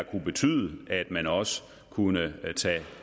kunne betyde at man også kunne tage